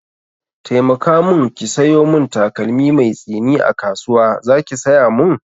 Taimaka mun ki sayo mun takalmi mai tsini a kasuwa, zaki saya mun?